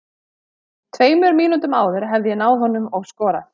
Tveimur mínútum áður hefði ég náð honum og skorað.